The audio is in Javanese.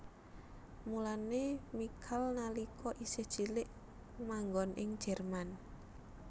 Mulané Michal nalika isih cilik manggon ing Jerman